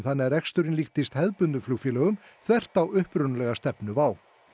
þannig að reksturinn líktist hefðbundnum flugfélögum þvert á upprunalega stefnu WOW